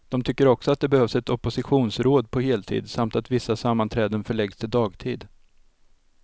De tycker också att det behövs ett oppositionsråd på heltid, samt att vissa sammanträden förläggs till dagtid.